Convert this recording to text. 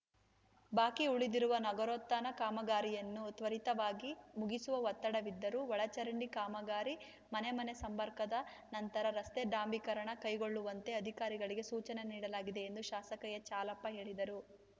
ಬಾಕಿ ಉಳಿದಿರುವ ನಗರೋತ್ಥಾನ ಕಾಮಗಾರಿಯನ್ನು ತ್ವರಿತವಾಗಿ ಮುಗಿಸುವ ಒತ್ತಡವಿದ್ದರೂ ಒಳಚರಂಡಿ ಕಾಮಗಾರಿ ಮನೆಮನೆ ಸಂಪರ್ಕದ ನಂತರ ರಸ್ತೆ ಡಾಂಬರೀಕರಣ ಕೈಗೊಳ್ಳುವಂತೆ ಅಧಿಕಾರಿಗಳಿಗೆ ಸೂಚನೆ ನೀಡಲಾಗಿದೆ ಎಂದು ಶಾಸಕ ಎಚ್‌ಹಾಲಪ್ಪ ಹೇಳಿದರು